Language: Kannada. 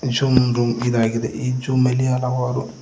ಜುಮ್ ಡುಂ ಇದಾಗಿದೆ ಈ ಜುಮ್ ಅಲ್ಲಿ ಹಲವಾರು--